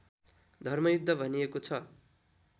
धर्मयुद्ध भनिएको छ